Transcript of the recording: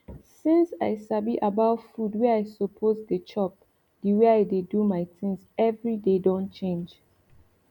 since i sabi about food wey i suppose dey chop the way i dey do my things every day don change